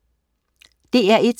DR1: